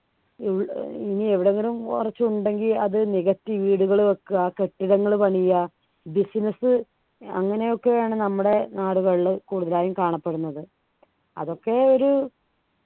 E ഏർ ഇനി എവിടെയെങ്കിലും കുറച്ച് ഉണ്ടെങ്കിൽ അത് നികത്തി വീടുകൾ വെക്കുക കെട്ടിടങ്ങൾ പണിയാ business അങ്ങനെയൊക്കെയാണ് നമ്മുടെ നാടുകളിൽ കൂടുതലായും കാണപ്പെടുന്നത് അതൊക്കെ ഒരു